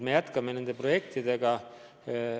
Me jätkame neid projekte.